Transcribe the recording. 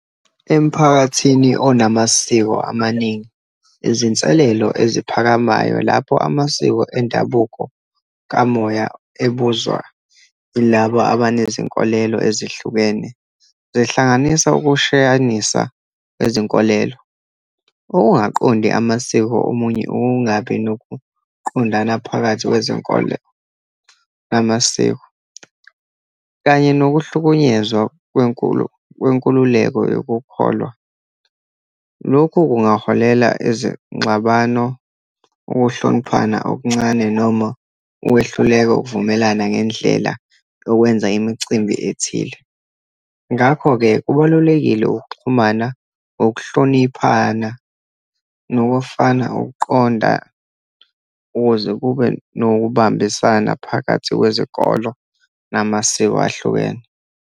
Emphakathini onamasiko amaningi, izinselelo eziphakamayo lapho amasiko endabuko kamoya ebuzwa yilaba abanezinkolelo ezihlukene, zihlanganisa ukushiyanisa kwezinkolelo, ukungaqondi amasiko omunye, ukungabi nokuqondana phakathi kwezenkolo namasiko, kanye nokuhlukunyezwa kwenkululeko yokukholwa. Lokhu kungaholela ezingxabano, ukuhloniphana okuncane, noma ukwehluleka ukuvumelana ngendlela yokwenza imicimbi ethile. Ngakho-ke kubalulekile ukuxhumana ngokuhloniphana nokufana ukuqonda, ukuze kube nokubambisana phakathi wezikolo namasiko ahlukene.